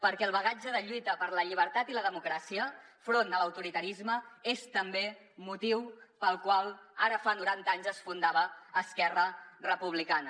perquè el bagatge de lluita per la llibertat i la democràcia front a l’autoritarisme és també motiu pel qual ara fa noranta anys es fundava esquerra republicana